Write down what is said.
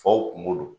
Faw kungo don